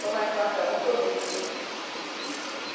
Foi uma infância muito rica.